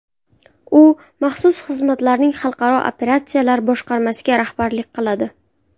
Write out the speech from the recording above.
U maxsus xizmatlarning xalqaro operatsiyalar boshqarmasiga rahbarlik qiladi.